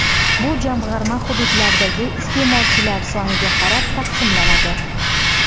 Bu jamg‘arma hududlardagi iste’molchilar soniga qarab taqsimlanadi.